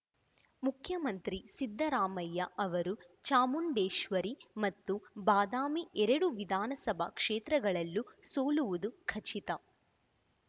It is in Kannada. ಮುಖ್ಯಮಂತ್ರಿ ಸಿದ್ದರಾಮಯ್ಯ ಅವರು ಚಾಮುಂಡೇಶ್ವರಿ ಮತ್ತು ಬಾದಾಮಿ ಎರಡೂ ವಿಧಾನಸಭಾ ಕ್ಷೇತ್ರಗಳಲ್ಲೂ ಸೋಲುವುದು ಖಚಿತ